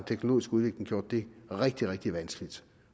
teknologiske udvikling gjort det rigtig rigtig vanskeligt